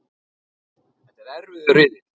Þetta er erfiður riðill.